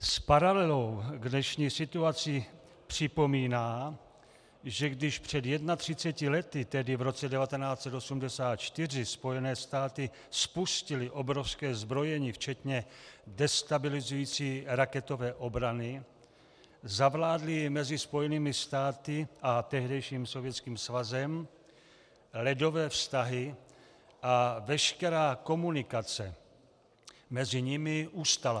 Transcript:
S paralelou k dnešní situaci připomíná, že když před 31 lety, tedy v roce 1984, Spojené státy spustily obrovské zbrojení včetně destabilizující raketové obrany, zavládly mezi Spojenými státy a tehdejším Sovětským svazem ledové vztahy a veškerá komunikace mezi nimi ustala.